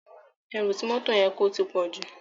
Èrú ti mòtó yèn kó tipòjú